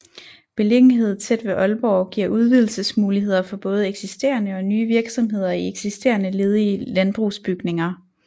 Beliggenhed tæt ved Aalborg giver udvidelsesmuligheder for både eksisterende og nye virksomheder i eksisterende ledige landbrugsbygninger